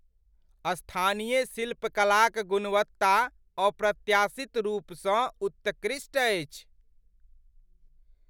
स्थानीय शिल्पकलाक गुणवत्ता अप्रत्याशित रूपसँ उत्कृष्ट अछि।